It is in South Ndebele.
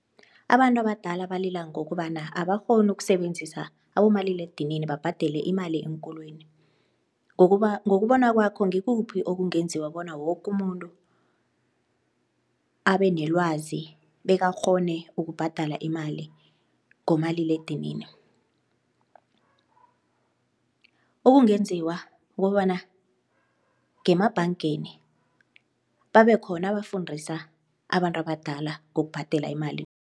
Abantu abadala balila ngokobana abakghoni ukusebenzisa abomaliledinini babhadele imali eenkolweni. Ngokubona kwakho ngikuphi okungenziwa bona woke umuntu abe nelwazi bekakghone ukubhadala imali ngomaliledinini? Okungenziwa kukobana ngemabhangeni babekhona abafundisa abantu abadala ngokubhadela imali.